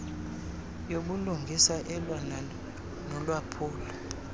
yobulungisa elwa nolwaphulo